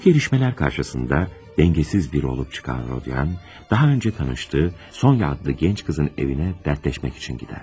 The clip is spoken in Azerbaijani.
Bu gəlişmələr qarşısında dəngəsiz biri olub çıxan Rodyan, daha öncə tanışdığı Sonya adlı gənc qızın evinə dərdləşmək üçün gedər.